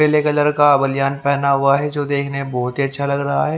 पेले colour का बनीयान पहना हुआ है जो देखने में बहुत ही अच्छा लग रहा है।